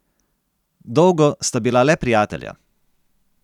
Dolgo sta bila le prijatelja.